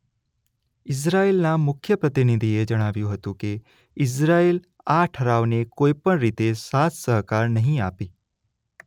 ઇઝરાયેલના મુખ્ય પ્રતિનિધિએ જણાવ્યું હતું કે ઇઝરાયેલ આ ઠરાવને કોઈ પણ રીતે સાથ સહકાર નહીં આપે.